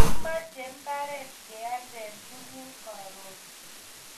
Kimache mbaret keyalden tuguk karun